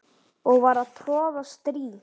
og var að troða strý